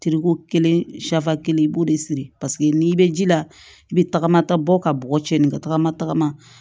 kelen kelen i b'o de siri paseke n'i bɛ ji la i bɛ tagama ta bɔ ka bɔgɔ cɛ nin ka tagama tagama